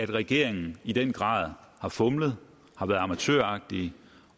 regeringen i den grad fumlet har været amatøragtige